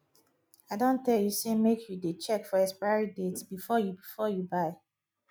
i don tell you say make you dey check for expiry date before you before you buy